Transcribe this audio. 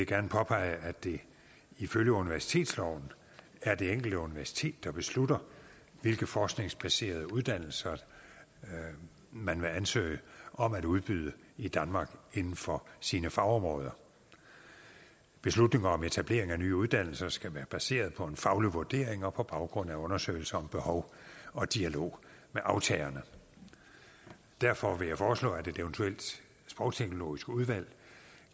gerne påpege at det ifølge universitetsloven er det enkelte universitet der beslutter hvilke forskningsbaserede uddannelser man vil ansøge om at udbyde i danmark inden for sine fagområder beslutningen om etablering af nye uddannelser skal være baseret på en faglig vurdering og på baggrund af undersøgelser om behov og dialog med aftagerne derfor vil jeg foreslå at et eventuelt sprogteknologisk udvalg